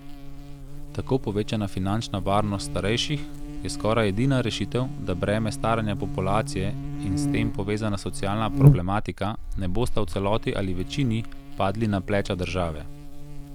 Tako povečana finančna varnost starejših je skoraj edina rešitev, da breme staranja populacije in s tem povezana socialna problematika ne bosta v celoti ali večini padli na pleča države.